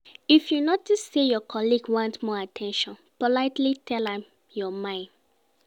If you notice say your colleague want more at ten tion politely tell am your mind